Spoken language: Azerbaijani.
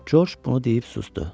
Corc bunu deyib susdu.